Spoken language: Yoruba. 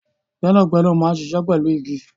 Gbẹ́nàgbẹ́nà máa ń ṣiṣẹ́ pẹ̀lú igi